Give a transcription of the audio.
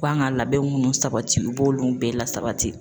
K'an ka labɛn munnu sabati u b'olu bɛɛ lasabati